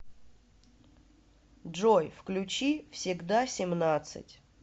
джой включи всегда семнадцать